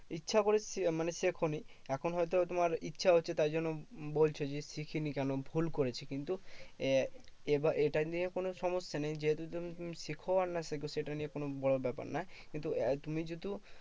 ইচ্ছা করে মানে শেখোনি। এখন হয়তো তোমার ইচ্ছা হচ্ছে তাই জন্য বলছে যে, শিখিনি কেন? ভুল করেছি। কিন্তু আহ এবার এটা নিয়ে কোনো সমস্যা নেই যেহেতু তুমি শেখো না শেখো সেটা নিয়ে কোনো বড় ব্যাপার নয়। কিন্তু তুমি যেহেতু